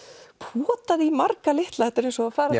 potað í marga litla þetta er eins og að fara